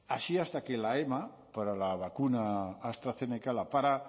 así hasta que la ema para la vacuna astrazeneca la para